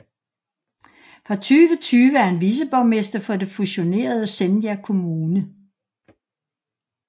Fra 2020 er han viceborgmester for det fusionerede Senja kommune